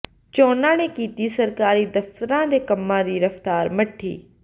ਚੋਣਾਂ ਨੇ ਕੀਤੀ ਸਰਕਾਰੀ ਦਫਤਰਾਂ ਦੇ ਕੰਮਾਂ ਦੀ ਰਫਤਾਰ ਮੱਠੀ